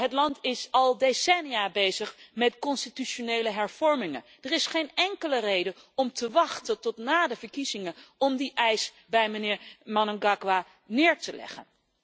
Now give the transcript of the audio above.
Het land is al decennia bezig met constitutionele hervormingen. Er is geen enkele reden om te wachten tot na de verkiezingen om die eis bij meneer Mnangagwa neer te leggen.